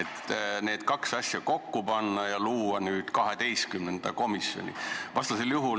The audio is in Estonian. Kas võiks need kaks asja kokku panna ja luua 12. komisjoni?